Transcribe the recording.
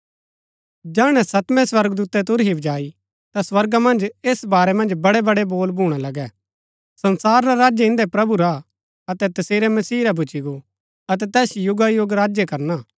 जैहणै सतमें स्वर्गदूतै तुरही बजाई ता स्वर्गा मन्ज ऐस बारै मन्ज बड़ैबड़ै बोल भूणा लगै संसार रा राज्य इंदै प्रभु रा हा अतै तसेरै मसीह रा भूच्ची गो अतै तैस युगायुग राज्य करना